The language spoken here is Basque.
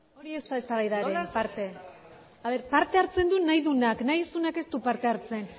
hori ez da eztabaidaren parte parte hartzen du nahi duenak nahi ez duenak ez du parte hartzen